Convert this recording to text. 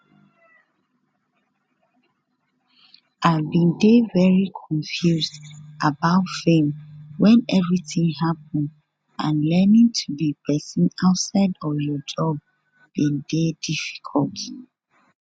i bin dey very confused about fame when everything happen and learning to be person outside of your job bin dey difficult